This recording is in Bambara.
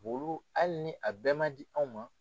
Olu hali ni a bɛɛ man di anw ma.